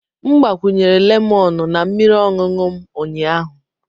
M gbakwunyere lemọnụ na mmiri ọṅụṅụ m ụnyaahụ.